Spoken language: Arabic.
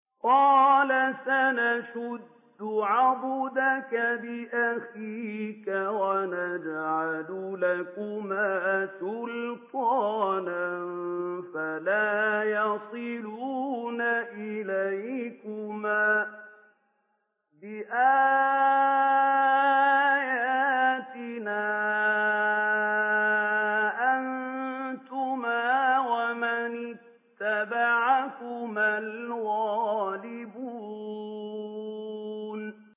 قَالَ سَنَشُدُّ عَضُدَكَ بِأَخِيكَ وَنَجْعَلُ لَكُمَا سُلْطَانًا فَلَا يَصِلُونَ إِلَيْكُمَا ۚ بِآيَاتِنَا أَنتُمَا وَمَنِ اتَّبَعَكُمَا الْغَالِبُونَ